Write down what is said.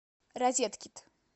розеткед